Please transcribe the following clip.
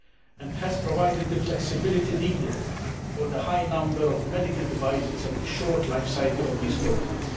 and has provided the flexibility needed for the high number of medical devices and the short life cycle of these products.